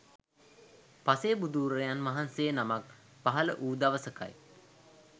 පසේබුදුවරයන් වහන්සේ නමක් පහළ වූ දවසකයි